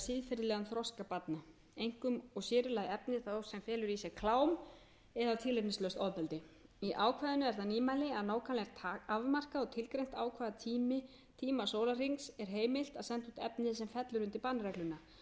í lagi efni þó sem felur í sér klám eða tilefnislaust ofbeldi í ákvæðinu er það nýmæli að nákvæmlega er afmarkað og tilgreint á hvaða níu a sólarhrings sé heimilt að senda út efni sem fellur undir bannregluna lagt er til að leitt